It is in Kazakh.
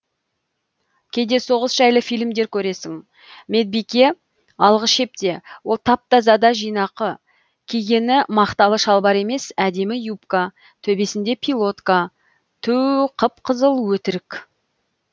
кейде соғыс жайлы фильмдер көресің медбике алғы шепте ол тап таза да жинақы кигені мақталы шалбар емес әдемі юбка төбесінде пилотка түу қып қызыл өтірік